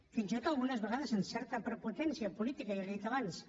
fins i tot algunes vegades amb certa prepotència política ja li ho he dit abans